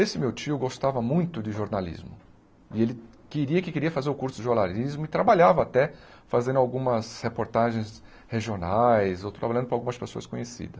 Esse meu tio gostava muito de jornalismo e ele queria porque queria fazer o curso de jornalismo e trabalhava até fazendo algumas reportagens regionais ou trabalhando para algumas pessoas